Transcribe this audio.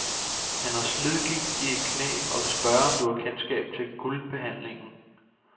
Han har slidgigt i et knæ og vil spørge, om du har kendskab til guldbehandlingen.